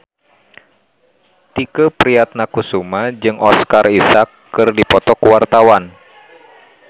Tike Priatnakusuma jeung Oscar Isaac keur dipoto ku wartawan